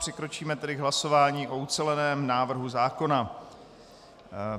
Přikročíme k hlasování o uceleném návrhu zákona.